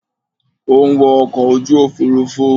O ń wọ ọkọ̀ ojú òfuurufú.